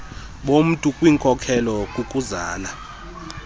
bomntu kwinkolelo kukuzala